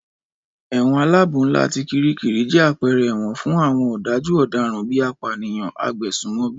Ẹ̀wọ̀n aláàbò ńlá ti Kiríkirì jẹ́ àpẹẹrẹ ẹ̀wọ̀n fún àwọn ọ̀dájú ọ̀daràn bíi apànìyàn, agbésùmọ̀bí